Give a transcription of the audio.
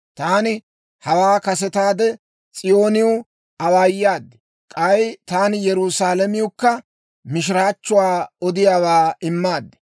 Taani hawaa kasetaade S'iyooniw awaayaad; k'ay taani Yerusaalamewukka mishiraachchuwaa odiyaawaa immaad.